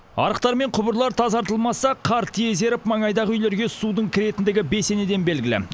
арықтар мен құбырлар тазартылмаса қар тез еріп маңайдағы үйлерге судың кіретіндігі бесенеден белгілі